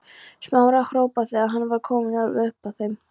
Smára hrópa þegar hann var kominn alveg upp að þeim.